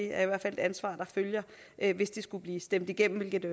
er et ansvar der følger hvis det skulle blive stemt igennem hvilket